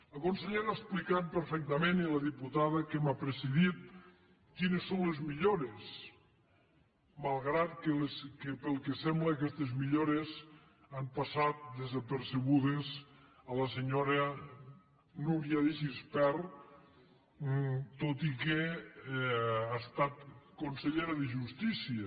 la consellera ha explicat perfectament i la diputada que m’ha precedit quines són les millores malgrat que pel que sembla aquestes millores han passat desapercebudes a la senyora núria de gispert tot i que ha estat consellera de justícia